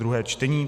druhé čtení